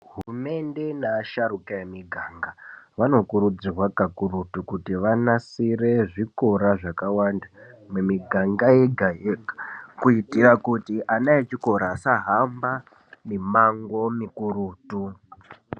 Hurumende nevasharuka emumiganga vanokurudzirwa kakurutu kuti vanasire zvikora zvakawanda ,mumiganga yega-yega ,kuti vana vechikora vasahamba mimango mikurutu.